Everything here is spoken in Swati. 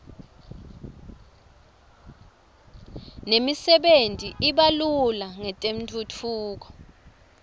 nemisebenti i iba lula ngetentfutfuko